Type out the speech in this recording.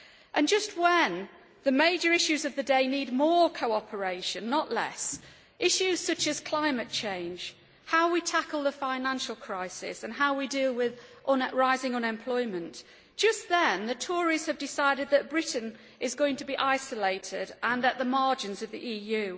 And just when the major issues of the day need more cooperation, not less, issues such as climate change, how we tackle the financial crisis and how we deal with rising unemployment, just then the Tories have decided that Britain is going to be isolated and at the margins of the EU.